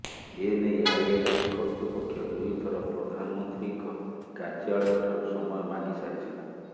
ଏନେଇ ଆଇଆଇଟି କର୍ତୃପକ୍ଷ ଦୁଇଥର ପ୍ରଧାନମନ୍ତ୍ରୀଙ୍କ କାର୍ଯ୍ୟାଳୟଠାରୁ ସମୟ ମାଗିସାରିଛନ୍ତି